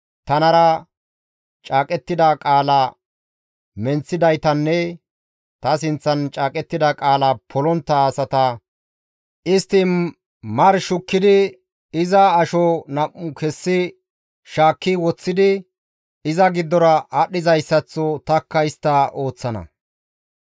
Tanara caaqettida qaala menththidaytanne ta sinththan caaqettida qaala polontta asata istti mari shukki iza asho nam7u kessi shaakki woththidi iza giddora aadhdhidayssaththo tanikka istta ooththana.